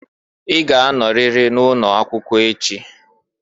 I ga-anoriri na ụnọ akwụkwọ echị!